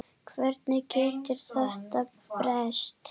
Hvernig getur þetta breyst?